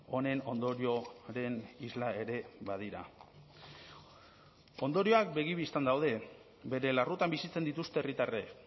honen ondorioren isla ere badira ondorioak begi bistan daude bere larrutan bizitzen dituzte herritarrek